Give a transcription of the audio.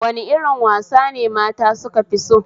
Wani irin wasane mata sukafi so?